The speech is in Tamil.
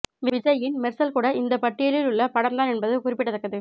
விஜய்யின் மெர்சல் கூட இந்த பட்டியலில் உள்ள படம்தான் என்பது குறிப்பிடத்தக்கது